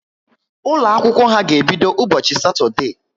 Ụlọ akwụkwọ ha ga ebido ụbọchị satode